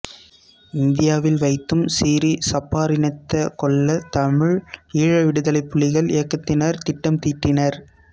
இந்தியாவில் வைத்தும் சிறீ சபாரத்தினத்த கொல்ல தமிழ் ஈழ விடுதலை புலிகள் இயக்கத்தினர் திட்டம் தீட்டினர்